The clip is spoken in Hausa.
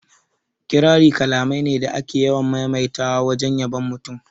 Kirari kalamai ne da ake yawan maimaita wajen yabon mutum